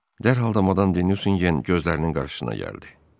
Dərhal da madam de Nüsingen gözlərinin qarşısına gəldi.